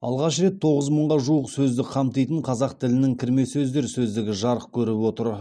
алғаш рет тоғыз мыңға жуық сөзді қамтитын қазақ тілінің кірме сөздер сөздігі жарық көріп отыр